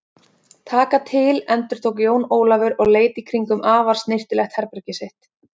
Taka til endurtók Jón Ólafur og leit í kringum afar snyrtilegt herbergið sitt.